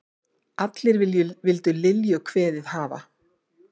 Allir vildu Lilju kveðið hafa.